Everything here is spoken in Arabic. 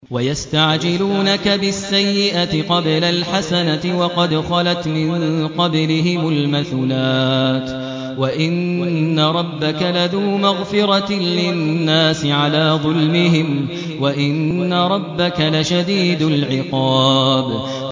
وَيَسْتَعْجِلُونَكَ بِالسَّيِّئَةِ قَبْلَ الْحَسَنَةِ وَقَدْ خَلَتْ مِن قَبْلِهِمُ الْمَثُلَاتُ ۗ وَإِنَّ رَبَّكَ لَذُو مَغْفِرَةٍ لِّلنَّاسِ عَلَىٰ ظُلْمِهِمْ ۖ وَإِنَّ رَبَّكَ لَشَدِيدُ الْعِقَابِ